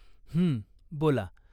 हं, बोला.